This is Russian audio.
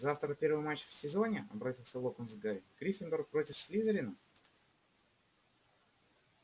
завтра первый матч в сезоне обратился локонс к гарри гриффиндор против слизерина